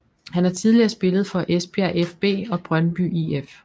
Han har tidligere spillet for Esbjerg fB og Brøndby IF